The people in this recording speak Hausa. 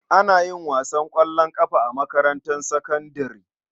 Ana yin wasan ƙwallon ƙafa a makarantar sakandare.